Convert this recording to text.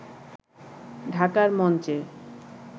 ঢাকার মঞ্চে